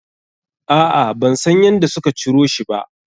A'a, ban san yadda suka ciro shi ba.